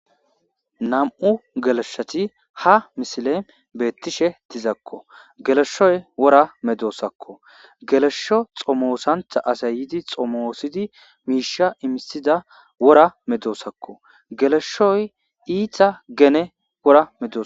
nam7u geleshoti ha misile beettishe tizakko geleshoy wora medoosakko geleshsho xomoosanta asay yidi xomoosidi miisha imisida wora medoosakko geleshoy iita gene wora medos